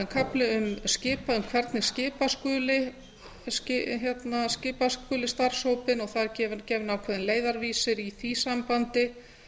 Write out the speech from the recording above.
kafli um hvernig skipa skuli starfshópinn og það er gefinn ákveðinn leiðarvísir í því sambandi